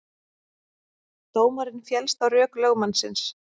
Dómarinn féllst á rök lögmannsins